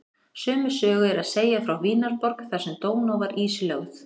Sömu sögu er að segja frá Vínarborg þar sem Dóná var ísilögð.